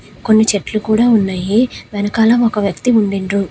కొన్ని చెట్లు కూడా ఉన్నాయి. వెనకాల ఒక వ్యక్తి ఉండిండ్రు.